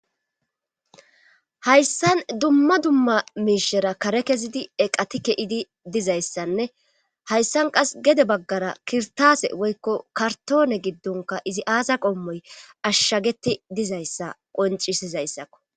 Hayssan dumma dumma miishera kare kezidi eqati ke'idi dizayssanne hayssan qas gede baggara kirtaase woykko kartoone giddonka izi aasa qommoy ashshageti dizayssa qoncisizayssakko.